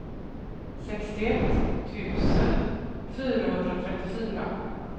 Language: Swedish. sextioett tusen fyrahundratrettiofyra